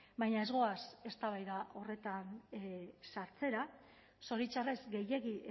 baina ez goaz eztabaida horretan sartzera zoritxarrez gehiegi